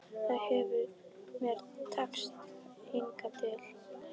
Það hefur mér tekist hingað til.